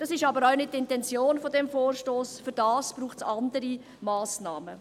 Das ist auch nicht die Intention des Vorstosses, dafür braucht es andere Massnahmen.